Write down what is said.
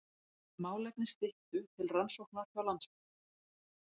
Málefni Styttu til rannsóknar hjá Landsbanka